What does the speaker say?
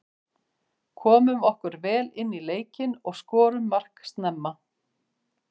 Komum okkur vel inní leikinn og skorum mark snemma.